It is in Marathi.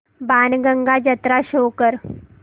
बाणगंगा जत्रा शो कर